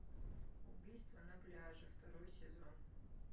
убийство на пляже второй сезон